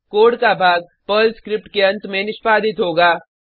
code का भाग Perl script के अंत में निष्पादित होगा